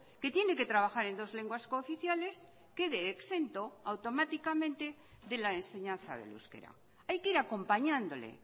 que tiene que trabajar en dos lenguas cooficiales quede exento automáticamente de la enseñanza del euskera hay que ir acompañándole